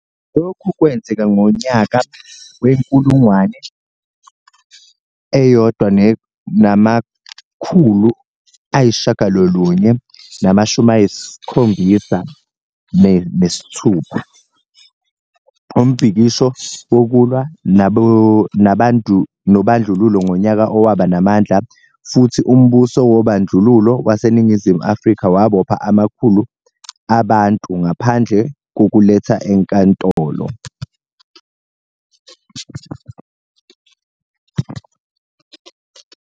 Lokho kwenzeka ngonyaka we-1976, umbhikisho wokulwa nobandlululo ngonyaka owaba namandla futhi umbuso wobandlululo waseNingizimu Afrika wabopha amakhulu abantu ngaphandle kokuletha enkantolo.